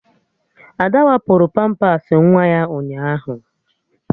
Ada wapụrụ pampas nwa ya ụnyaahụ